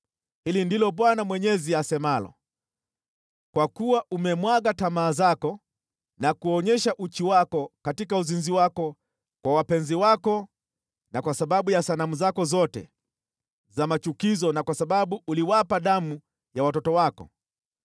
Hili ndilo Bwana Mwenyezi asemalo: Kwa kuwa umemwaga tamaa zako na kuonyesha uchi wako katika uzinzi wako kwa wapenzi wako na kwa sababu ya sanamu zako zote za machukizo na kwa sababu uliwapa damu ya watoto wako,